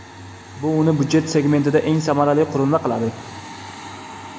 Bu uni byudjet segmentida eng samarali qurilma qiladi.